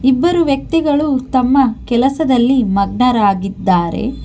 ಇಬ್ಬರು ವ್ಯಕ್ತಿಗಳು ತಮ್ಮ ಕೆಲಸದಲ್ಲಿ ಮಗ್ನರಾಗಿದ್ದಾರೆ.